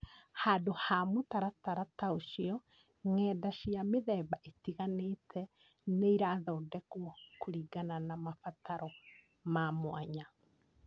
Handũ ha mũtaratara ta ũcio, ng’enda cia mĩthemba ĩtiganite nĩ irathondekwo kũringana na mabataro ma mwanya.